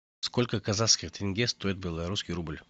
сколько казахских тенге стоит белорусский рубль